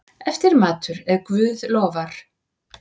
Eftirmatur, ef guð lofar.